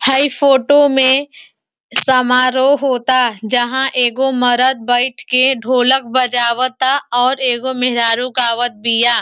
हाई photo में समारोह होता जहां एगो मर्द बईठ के ढोलक बजावता और एगो मेहररु गावतबिया।